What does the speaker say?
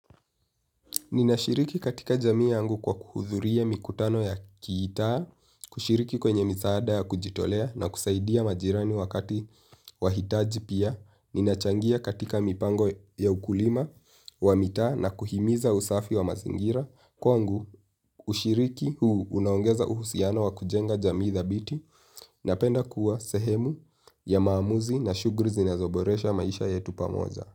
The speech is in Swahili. Ninashiriki katika jamii yangu kwa kuhudhuria mikutano ya kiitaa, kushiriki kwenye msaada ya kujitolea na kusaidia majirani wakati wahitaji pia. Ninachangia katika mipango ya ukulima wa mitaa na kuhimiza usafi wa mazingira. Kwangu ushiriki huu unaongeza uhusiano wa kujenga jamii thabiti napenda kuwa sehemu ya maamuzi na shughuli zinazoboresha maisha yetu pamoja.